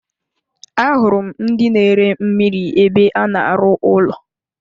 Ahụrụ m ndị na ere mmiri ébé a na-aru ụlọ.